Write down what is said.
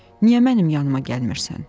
Niyə mənim yanıına gəlmirsən?